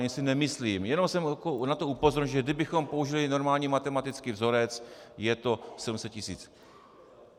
Ani si nemyslím - jenom jsem na to upozornil, že kdybychom použili normální matematický vzorec, je to 700 tisíc.